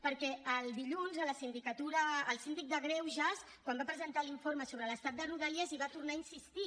perquè el dilluns el síndic de greuges quan va presentar l’informe sobre l’estat de rodalies hi va tornar a insistir